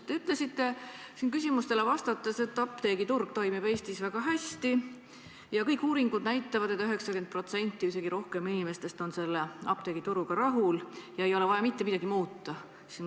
Te ütlesite siin küsimustele vastates, et apteegiturg toimib Eestis väga hästi ja uuringud näitavad, et 90% või isegi rohkem inimestest on sellega rahul ja ei ole vaja mitte midagi muuta.